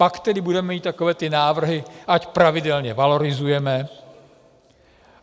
Pak tedy budeme mít takové ty návrhy, ať pravidelně valorizujeme.